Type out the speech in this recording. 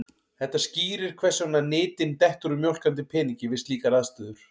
Þetta skýrir hvers vegna nytin dettur úr mjólkandi peningi við slíkar aðstæður.